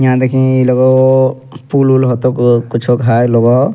यहाँ देखीं इइ लगौ पूल-उल होतो कुछो घाय लगो।